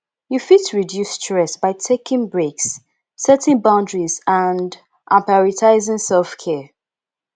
you fit reduce stress by taking breaks setting boundaries and and prioritizing selfcare